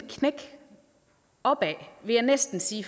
opad vil jeg næsten sige